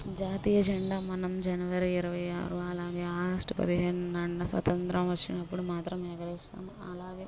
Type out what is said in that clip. జాతీయ జండా మనం జనవరి ఇరవైయ్ ఆరు అలాగే ఆగస్టు పదిహేను స్వతంత్రం వచ్చినప్పుడు మాత్రం వేగరేస్తాం. అలాగే--